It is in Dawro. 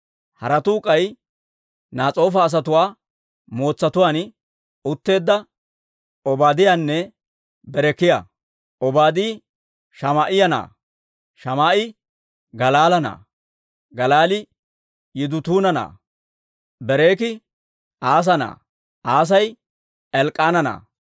Haratuu k'ay Nas'oofa asatuwaa mootsatuwaan utteedda Obaadiyaanne Berekiyaa. Obaadi Shamaa'iyaa na'aa; Shamaa'e Galaala na'aa; Galaali Yidutuuna na'aa. Berekii Asa na'aa; Asay Elk'k'aana na'aa.